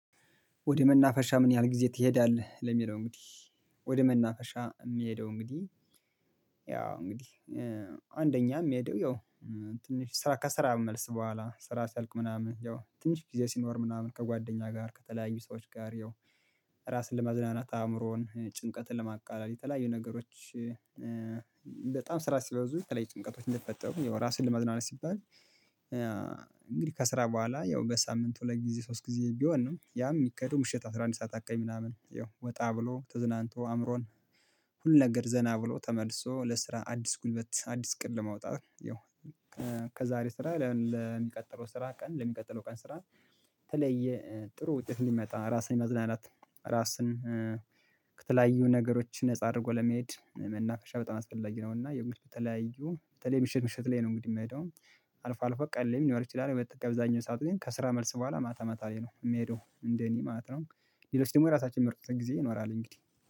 ወደ መናፈሻ ምን ያህል ጊዜ ትሄዳለህ? ለሚለው እንግዲህ ወደ መናፈሻ እምሄደው እንግዲህ ያው እንግዲህ አንደኛ እምሄደው ያው ትንሽ ስራ ከስራ መልስ በኋላ ስራ ሲያልቅ ምናምን ያው ትንሽ ጊዜ ሲኖር ምናምን ከጓደኛ ጋር ከተለያዩ ሰዎች ጋር ያው ራስን ለማዝናናት አእምሮን ጭንቀትን ለማቃለል የተለያዩ ነገሮች። በጣም ስራ ሲበዙ የተለያዩ ጭንቀቶች እንደሚፈጠሩ ያው ራስን ለማዝናናት ሲባል እንግዲህ ከስራ በኋላ ያው በሳምንቱ ሁለት ጊዜ ሶስት ጊዜ ቢሆን ነው ያም የሚከደው ምሽት አስራ አንድ ሰዓት አካባቢ ምናምን ያው ወጣ ብሎ ተዝናንቶ አእምሮን። ሁሉን ነገር ዘና ብሎ ተመልሶ ለስራ አዲስ ጉልበት አዲስ እቅድ ለማውጣት ያው። ከዛሬ ስራ ለሚቀጥለው ስራ ቀን ለሚቀጥለው ቀን ስራ የተለያየ ጥሩ ውጤት እንዲመጣ ራስን የማዝናናት ራስን ከተለያዩ ነገሮች ነፃ አድርጎ ለመሄድ መናፈሻ በጣም አስፈላጊ ነው። እና ያው እንግዲህ ከተለያዩ በተለይ ምሽት ምሽት ላይ ነው እንግዲህ እምሄደው አልፎ አልፎ ቀን ላይም ሊኖር ይችላል። አብዛኛው ሰዓት ግን ከስራ መልስ በኋላ ማታ ማታ ላይ ነው እምሄደው እንደኔ ማለት ነው። ሌሎች ደግሞ የራሳችን የሚመርጡት ጊዜ ይኖራል እንግዲህ